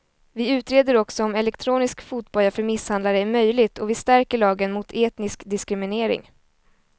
Vi utreder också om elektronisk fotboja för misshandlare är möjligt och vi stärker lagen mot etnisk diskriminering.